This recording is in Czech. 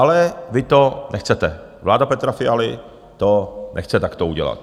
Ale vy to nechcete, vláda Petra Fialy to nechce takto udělat.